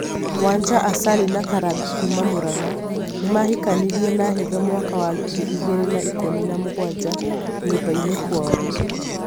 wanja Asali na Karangu kuma Murang'a, nimahikanirie na hitho mwaka wa ngiri igĩrĩ na ikũmi na mũgwanja, nyũmba-inĩ kwao